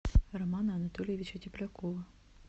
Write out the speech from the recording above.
романа анатольевича теплякова